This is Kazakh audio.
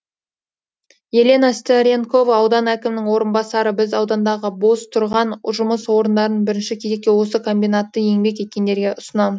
елена старенкова аудан әкімінің орынбасары біз аудандағы бос тұрған жұмыс орындарын бірінші кезекте осы комбинатта еңбек еткендерге ұсынамыз